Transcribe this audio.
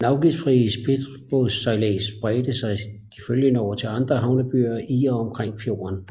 Den afgiftsfrie spritbådssejlads bredte sig de følgende år til de andre havnebyer i og omkring fjorden